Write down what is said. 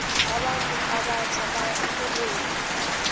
abantu abatjha baya erholweni